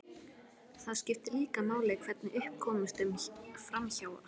Það skiptir líka máli hvernig upp komst um framhjáhaldið.